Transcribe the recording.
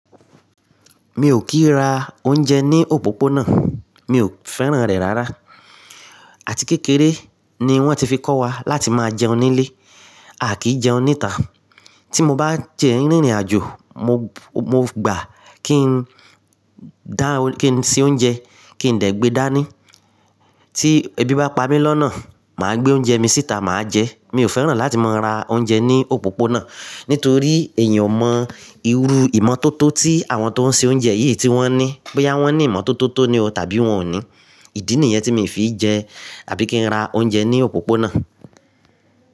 Mi ò kín ra oúnjẹ ní òpópónà, mi ò fẹ́ràn rẹ̀ rárá. Àti kékeré ni wọ́n ti fi kọ́ wa láti máa jẹun nílé, à kìí jẹun níta. Tí mo bá dẹ rí rìnàjò, mo gbà kí n dá, kí n se oúnjẹ kí ndẹ̀ gbé dání. Tí ebi bá pa mí lọ́nà, màá gbé oúnjẹ mi síta, màá jẹ ẹ́. Mi ò fẹ́ràn láti máa ra oúnjẹ ní òpópónà. Nítorí èyan ò mọ irú ìmọ́tótó tí àwọn tó ń se oúnjẹ yìí tí wọ́n ní. Bóyá wọ́n ní ìmọ́tótó tó ní o, tàbí wọn ò ní. Ìdí nìyẹn tí mi ò fi jẹ àbí kí n ra oúnjẹ ní òpópónà.